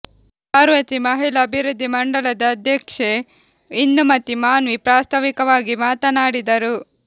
ಪಾರ್ವತಿ ಮಹಿಳಾ ಅಭಿವೃದ್ಧಿ ಮಂಡಳದ ಅಧ್ಯಕ್ಷೆ ಇಂದುಮತಿ ಮಾನ್ವಿ ಪ್ರಾಸ್ತಾವಿಕವಾಗಿ ಮಾತನಾಡಿದರು